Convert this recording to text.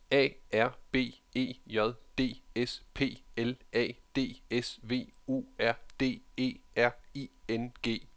A R B E J D S P L A D S V U R D E R I N G